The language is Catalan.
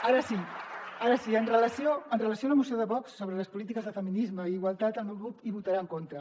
ara sí amb relació a la moció de vox sobre les polítiques de feminisme i igualtat el meu grup hi votarà en contra